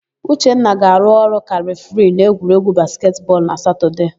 Uchenwa ga-arụ ọrụ ka refiri n'egwuregwu basketị bọọlụ na Satọdee.